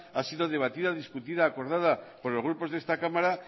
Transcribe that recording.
ha sido debatida discutida y acordada por los grupos de esta cámara